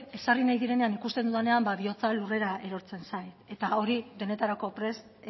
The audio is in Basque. ezarri nahi direnean ikusten dudanean bihotza lurrera erortzen zait eta hori denetarako prest